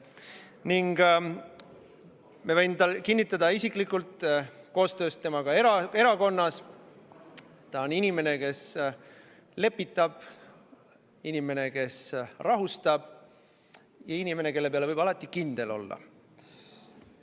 Temaga erakonnas koostööd teinuna ma võin isiklikult kinnitada: ta on inimene, kes lepitab ja rahustab, inimene, kelle peale võib alati kindel olla.